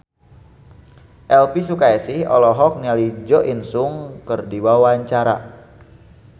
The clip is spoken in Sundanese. Elvy Sukaesih olohok ningali Jo In Sung keur diwawancara